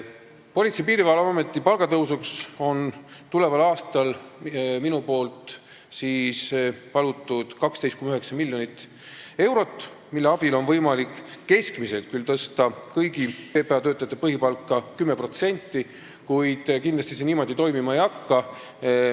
Politsei- ja Piirivalveameti palgatõusuks olen mina tulevaks aastaks palunud 12,9 miljonit eurot, mille abil on võimalik tõsta kõigi PPA töötajate põhipalka 10%, keskmiselt küll, kuid kindlasti see niimoodi toimima ei hakka.